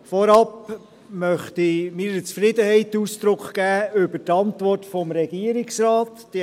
Vorab möchte ich meiner Zufriedenheit über die Antwort des Regierungsrates Ausdruck geben.